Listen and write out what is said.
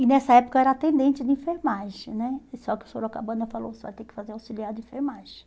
E nessa época eu era atendente de enfermagem né, só que o Sorocabana ainda falou, você vai ter que fazer auxiliar de enfermagem.